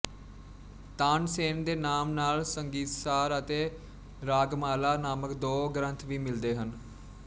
ਤਾਨਸੇਨ ਦੇ ਨਾਮ ਨਾਲ ਸੰਗੀਤਸਾਰ ਅਤੇ ਰਾਗਮਾਲਾ ਨਾਮਕ ਦੋ ਗਰੰਥ ਵੀ ਮਿਲਦੇ ਹਨ